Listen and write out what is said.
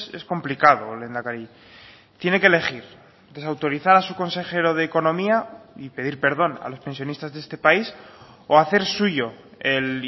es complicado lehendakari tiene que elegir desautorizar a su consejero de economía y pedir perdón a los pensionistas de este país o hacer suyo el